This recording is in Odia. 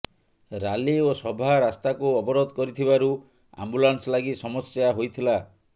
ରାଲି ଓ ସଭା ରାସ୍ତାକୁ ଅବରୋଧ କରିଥିବାରୁ ଆମ୍ବୁଲାନ୍ସ ଲାଗି ସମସ୍ୟା ହୋଇଥିଲା